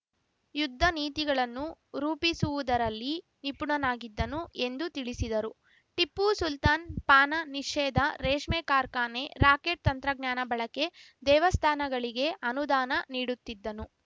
ಯುದ್ದ ನೀತಿಗಳನ್ನು ರೂಪಿಸುವುದರಲ್ಲಿ ನಿಪುಣನಾಗಿದ್ದನು ಎಂದು ತಿಳಿಸಿದರು ಟಿಪ್ಪು ಸುಲ್ತಾನ್‌ ಪಾನ ನೀಷೇಧ ರೇಷ್ಮೆ ಕಾರ್ಖಾನೆ ರಾಕೆಟ್‌ ತಂತ್ರಜ್ಞಾನ ಬಳಕೆ ದೇವಸ್ಥಾನಗಳಿಗೆ ಅನುದಾನ ನೀಡುತ್ತಿದ್ದನು